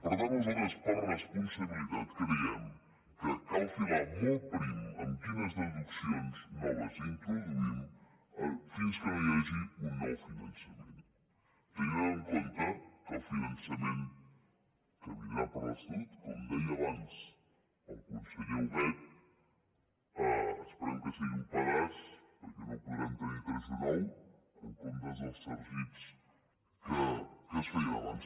per tant nosaltres per responsabilitat creiem que cal filar molt prim en quines deduccions noves introduïm fins que no hi hagi un nou finançament tenint en compte que el finançament que vindrà per l’estatut com deia abans el conseller huguet esperem que sigui un pedaç perquè no podrem tenim tenir vestit nou en comptes dels sargits que es feien abans